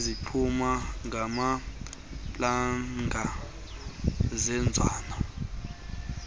izigquma ngamaplanga seenzanwe